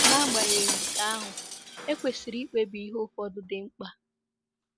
Nagbanyeghị nke ahụ, e kwesịrị ikpebi ihe ụfọdụ dị mkpa.